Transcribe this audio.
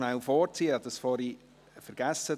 Ich habe dies vorhin vergessen.